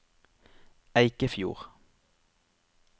Eikefjord